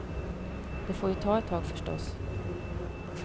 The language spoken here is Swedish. Det får ju ta ett tag förstås.